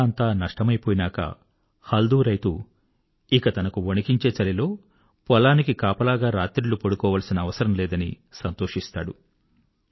తన పంట అంతా నష్టమై పోయినాక హల్దూ రైతు ఇక తనకు వణికించే చలిలో పొలానికి కాపలాగా రాత్రిళ్ళు పడుకోవాల్సిన అవసరం లేదని సంతోషిస్తాడు